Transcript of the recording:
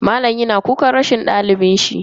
Malam yana kukan rashin dalibin shi.